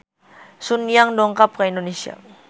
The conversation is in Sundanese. Sun Yang dongkap ka Indonesia